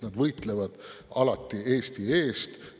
Nad võitlevad alati Eesti eest.